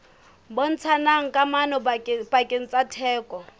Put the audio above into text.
bontshang kamano pakeng tsa theko